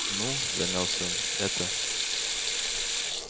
ну замялся он это